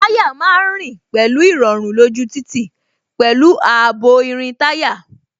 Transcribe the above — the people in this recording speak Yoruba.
Táyà má ń rìn pẹ̀lú irọrun lójú títì, pẹ̀lú ààbò irin táyà